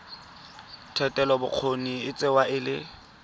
thetelelobokgoni e tsewa e le